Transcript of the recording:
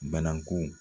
Bananku